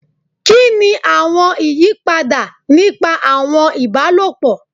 Kini awọn iyipada nipa awọn ibalopọ?